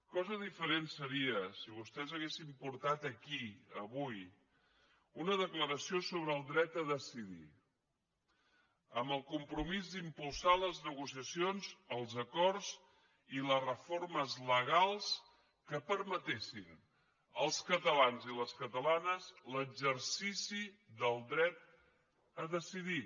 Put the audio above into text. cosa diferent seria si vostès haguessin portat aquí avui una declaració sobre el dret a decidir amb el compromís d’impulsar les negociacions els acords i les reformes legals que permetessin als catalans i les catalanes l’exercici del dret a decidir